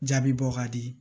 Jaabi bɔ ka di